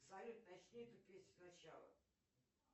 салют начни эту песню сначала